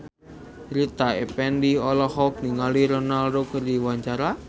Rita Effendy olohok ningali Ronaldo keur diwawancara